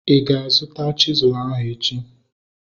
Ị ga-azuta chisụl ahu echi?